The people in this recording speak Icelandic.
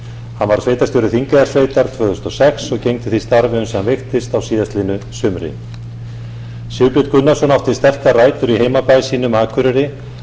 hann var sveitarstjóri þingeyjarsveitar tvö þúsund og sex og gegndi því starfi uns hann veiktist á síðastliðnu sumri sigbjörn gunnarsson átti sterkar rætur i heimabæ sínum akureyri